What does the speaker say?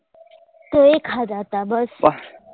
તો એ ખાધા તા બસ